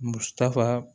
Musafa